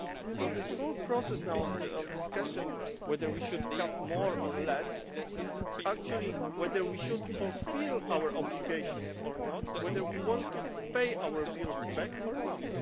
So this whole process of discussion now as to whether we should cut more or less is actually about whether we should fulfil our obligations or not, whether we want to pay our bills back or not.